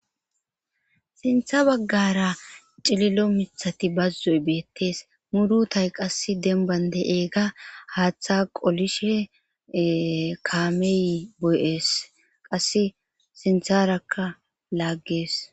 sintha baggara cililo mithati bazzoy beettees murutay qass denban de'iyaga haaththa qolishe kaamey boy7ees qasse sintharakka lagees